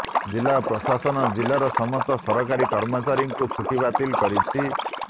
ଜିଲ୍ଲା ପ୍ରଶାସନ ଜିଲ୍ଲାର ସମସ୍ତ ସରକାରୀ କର୍ମଚାରୀ ଙ୍କ ଛୁଟି ବାତିଲ କରିଛି